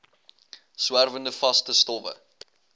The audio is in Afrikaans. swerwende vaste stowwe